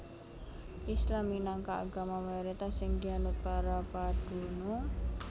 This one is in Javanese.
Islam minangka agama mayoritas sing dianut para padunung